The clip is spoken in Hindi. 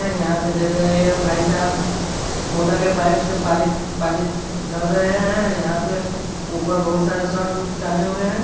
यहां पे देख रहे है ये भाईसाब मोटर के पाइप से पानी पानी दाल रहे है यहा पे ऊपर बहुत सारे शर्ट उट टांगे हुए हैं।